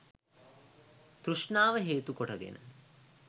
තෘෂ්ණාව හේතු කොට ගෙන